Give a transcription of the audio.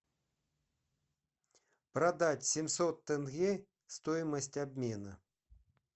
продать семьсот тенге стоимость обмена